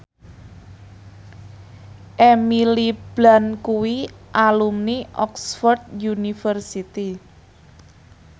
Emily Blunt kuwi alumni Oxford university